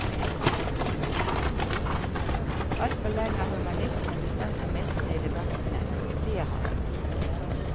Altfor lenge har humanistene bestemt premissene i debattene, sier han.